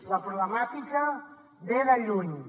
la problemàtica ve de lluny